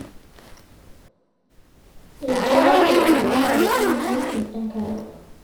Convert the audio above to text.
eduate eramatare oonguesin enkare